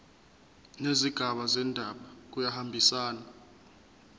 nezigaba zendaba kuyahambisana